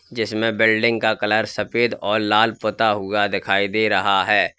जिसमें बिल्डिंग का कलर सफेद और लाल पुता हुआ दिखाई दे रहा है।